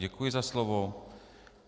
Děkuji za slovo.